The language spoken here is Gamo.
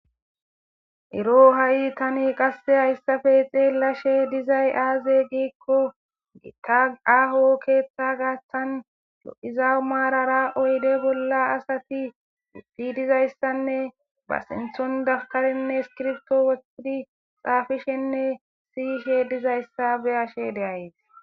ero ha'i tani qasse hayssafe xeelashe dizay aaze giikko gita aho keeththa gaaththan yo'izau maarara oyde bolla asati uddhi dizayssanne ba sinthon daftarenne skirbto wothidi xaafishenne siyishe dizayssa beyashe deayes